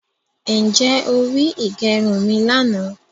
Ǹjẹ́ o ri ìgẹrun mi lànà